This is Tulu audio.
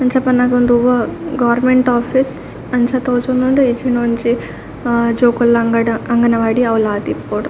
ಅಮ್ಚ ಪನ್ನಗ ಉಂದು ಒವಾ ಗೋರ್ಮೆಂಟ್ ಓಫೀಸ್ ಅಂಚ ತೋಜೊಂದುಂಡು ಇಜ್ಜಿಂಡ ಒಂಜಿ ಆ ಜೋಕುಲ್ನ ಅಂಗಡ ಅಂಗನವಾಡಿ ಅವು ಲ ಆದಿಪ್ಪೊಡು.